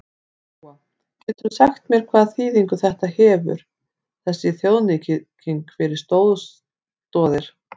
Lóa: Geturðu sagt mér hvaða þýðingu þetta hefur þessi þjóðnýting fyrir Stoð Stoðir?